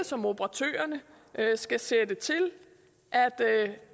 som operatørerne skal sætte til